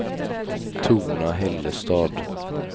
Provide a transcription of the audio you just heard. Torna-Hällestad